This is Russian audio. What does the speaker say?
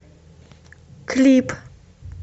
клип